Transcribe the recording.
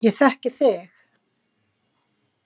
Ég þekki þig